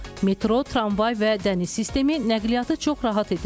Metro, tramvay və dəniz sistemi nəqliyyatı çox rahat edir.